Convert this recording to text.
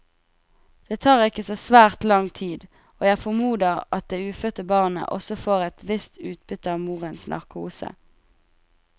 Det tar ikke så svært lang tid, og jeg formoder at det ufødte barnet også får et visst utbytte av morens narkose.